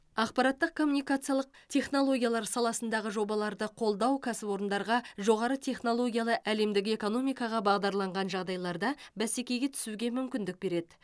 ақпараттық коммуникациялық технологиялар саласындағы жобаларды қолдау кәсіпорындарға жоғары технологиялы әлемдік экономикаға бағдарланған жағдайларда бәсекеге түсуге мүмкіндік береді